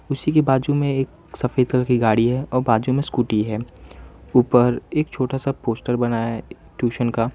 उसी की बाजू में एक सफेद कलर की गाड़ी है और बाजू में स्कूटी है ऊपर एक छोटा सा पोस्टर बनाया है ट्यूशन का --